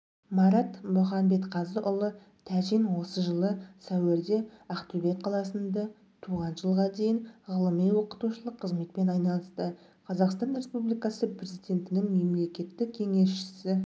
марат мұханбетқазыұлы тәжин жылы сәуірдеақтөбеқаласында туған жылғадейін ғылыми-оқытушылық қызметпен айналысты қазақстан республикасы президентінің мемлекеттік кеңесшісі жж